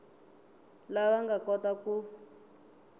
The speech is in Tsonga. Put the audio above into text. lava nga ta kota ku